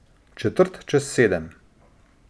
Četrt čez sedem.